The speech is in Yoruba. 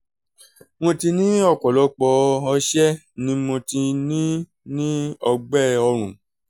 mo ti ní ọ̀pọ̀lọpọ̀ ọ̀sẹ̀ ni mo ti ń ní ọ̀gbẹ́ ọ̀rùn